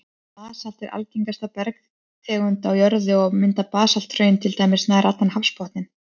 Basalt er algengasta bergtegund á jörðu, og mynda basalthraun til dæmis nær allan hafsbotninn.